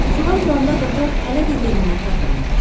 Yuxudan duranda qatar hələ də yerindən tərpənməmişdi.